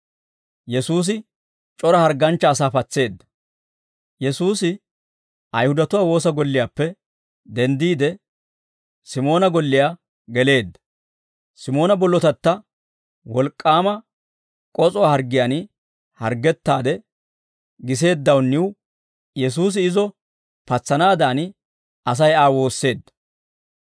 Yesuusi Ayihudatuwaa woosa golliyaappe denddiide Simoona golliyaa geleedda, Simoona bollotatta wolk'k'aama k'os'uwaa harggiyaan harggettaade giseeddawunniw Yesuusi izo patsanaadan Asay Aa woosseedda.